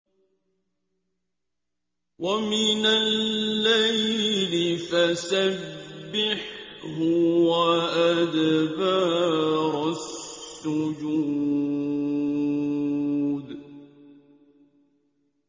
وَمِنَ اللَّيْلِ فَسَبِّحْهُ وَأَدْبَارَ السُّجُودِ